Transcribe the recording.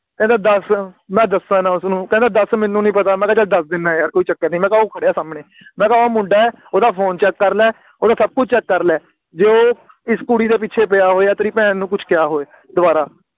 ਕਹਿੰਦਾ ਦਸ ਮੈਂ ਦਸਾ ਨਾ ਉਸਨੂੰ ਕਹਿੰਦਾ ਦਸ ਮੈਨੂੰ ਨੀ ਪਤਾ ਮੈਂ ਕਿਹਾ ਚੱਲ ਦਸ ਦਿੰਦਾ ਆ ਯਾਰ ਕੋਈ ਚੱਕਰ ਨੀ ਮੈਂ ਕਿਹਾ ਉਹ ਖੜ੍ਹਿਆ ਸਾਹਮਣੇ ਮੈਂ ਕਿਹਾ ਓ ਮੁੰਡਾ ਏ ਓਹਦਾ Phone Check ਕਰ ਲੈ ਓਹਦਾ ਸਭ ਕੁਝ Check ਕਰ ਲੈ ਜੇ ਉਹ ਇਸ ਕੁੜੀ ਦੇ ਪਿੱਛੇ ਪਿਆ ਹੋਇਆ ਤੇਰੀ ਭੈਣ ਨੂੰ ਕੁਝ ਕਿਹਾ ਹੋਏ ਦੁਬਾਰਾ